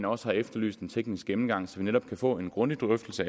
også har efterlyst en teknisk gennemgang så vi netop kan få en grundig drøftelse